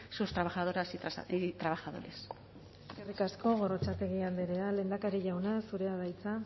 sus trabajadoras y trabajadores eskerrik asko gorrotxategi andrea lehendakari jauna zurea da hitza